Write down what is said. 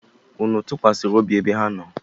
Unu tụkwasịrị obi ebe ha nọ?